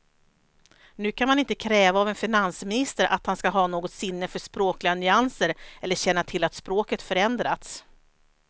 Nu kan man inte kräva av en finansminister att han ska ha något sinne för språkliga nyanser eller känna till att språket förändrats.